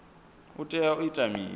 u tea u ita mini